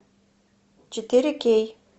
четыре кей